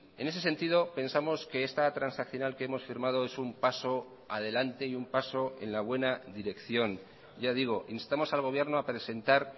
en ese sentido pensamos que esta transaccional que hemos firmado es un paso adelante y un paso en la buena dirección ya digo instamos al gobierno a presentar